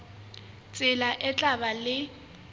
tsela e tla ba le